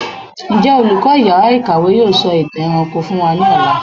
Njẹ olùkọ iyàrá ìkàwé yóò sọ ìtàn ẹranko fún wá ní Ọlà?